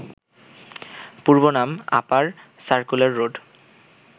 পূর্বনাম upper circular road